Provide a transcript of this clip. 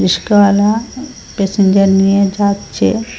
রিস্কায়ালা passenger নিয়ে যাচ্চে।